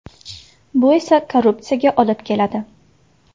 Bu esa korrupsiyaga olib keladi.